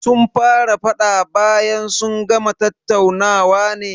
Sun fara faɗa bayan sun gama tattaunawa ne